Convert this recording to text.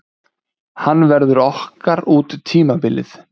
Hann verður okkar út tímabilið.